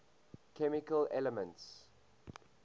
chemical elements